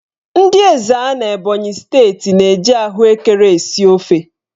Ndị Ezza n'Ebonyi steeti na-eji ahụekere esi ofe.